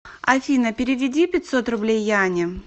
афина переведи пятьсот рублей яне